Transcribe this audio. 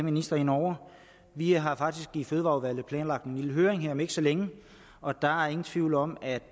ministre ind over vi har faktisk i fødevareudvalget planlagt en lille høring her om ikke så længe og der er ingen tvivl om at